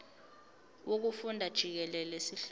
wokufunda jikelele sihlose